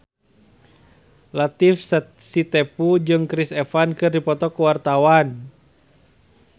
Latief Sitepu jeung Chris Evans keur dipoto ku wartawan